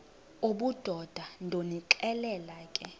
obudoda ndonixelela ke